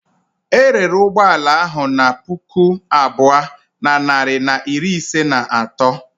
E rere ụgbọ ala ahụ na puku abụọ na narị na iri ise na atọ.